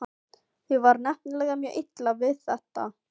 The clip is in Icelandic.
Því var nefnilega mjög illa við þetta.